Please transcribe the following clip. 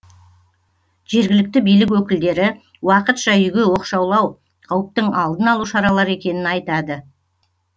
жергілікті билік өкілдері уақытша үйге оқшаулау қауіптің алдын алу шаралары екенін айтады